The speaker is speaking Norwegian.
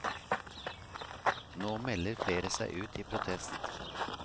Nå melder flere seg ut i protest.